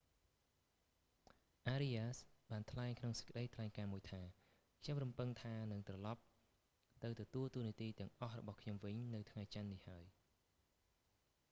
arias បានថ្លែងក្នុងសេចក្តីថ្លែងការណ៍មួយថា «ខ្ញុំរំពឹងថានឹង​ត្រឡប់​ទៅទទួលតួនាទីទាំងអស់របស់ខ្ញុំវិញនៅថ្ងៃច័ន្ទ​នេះ​ហើយ»​។